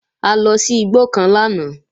A lọ sí igbó kan lánàá